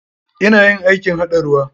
Ina yin aikin haɗa ruwa.